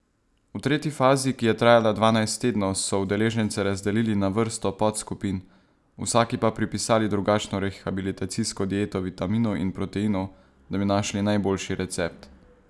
V tretji fazi, ki je trajala dvanajst tednov, so udeležence razdelili na vrsto podskupin, vsaki pa pripisali drugačno rehabilitacijsko dieto vitaminov in proteinov, da bi našli najboljši recept.